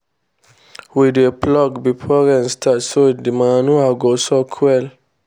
we dey plough before rain start so the manure go soak well.